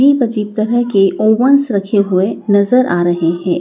अजीब अजीब तरह के ओवंस रखे हुए नजर आ रहे हैं।